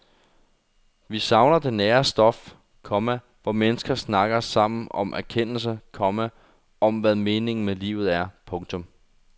Vi savner det nære stof, komma hvor mennesker snakker sammen om erkendelse, komma om hvad meningen med livet er. punktum